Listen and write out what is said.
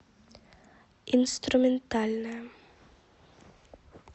инструментальная